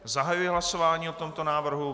Zahajuji hlasování o tomto návrhu.